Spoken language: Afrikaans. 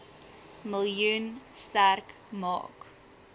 miljoen sterk maak